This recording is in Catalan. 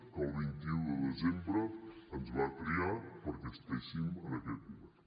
que el vint un de desembre ens va triar perquè estiguéssim en aquest govern